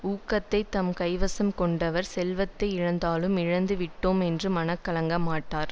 ஊக்கத்தைத் தம் கைவசம் கொண்டவர் செல்வத்தை இழந்தாலும் இழந்து விட்டோமோ என்று மனம் கலங்க மாட்டார்